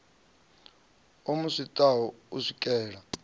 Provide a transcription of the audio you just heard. o mu swaṱaho u swikela